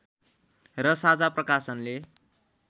र साझा प्रकाशनले